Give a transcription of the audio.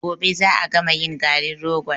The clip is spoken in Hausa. Gobe za a gama yin garin rogon.